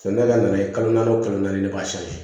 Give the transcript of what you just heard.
Sɔni ne ka na ye kalo naani o kalo naani ne b'a siri